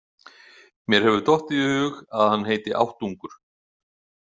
Mér hefur dottið í hug að hann heiti áttungur.